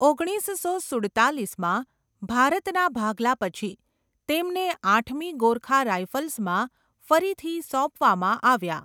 ઓગણીસસો સુડતાલીસમાં ભારતના ભાગલા પછી, તેમને આઠમી ગોરખા રાઈફલ્સમાં ફરીથી સોંપવામાં આવ્યા.